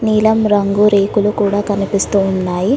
నీలం రంగు రేకులు కూడా కనిపిస్తూ ఉన్నాయి.